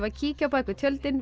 kíkja á bak við tjöldin við